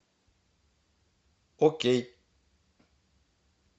окей